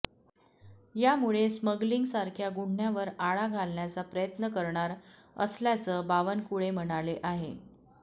यामुळे स्मगलिंगसारख्या गुन्ह्यांवर आळा घालण्याचा प्रयत्न करणार असल्याचं बावनकुळे म्हणाले आहे